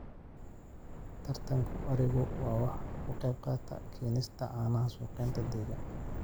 Taranka arigu waxa uu ka qayb qaataa keenista caanaha suuqyada deegaanka.